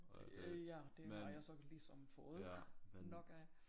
Øh ja det har jeg så ligesom fået nok af